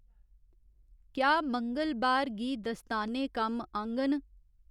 क्या मंगलबार गी दस्ताने कम्म आङन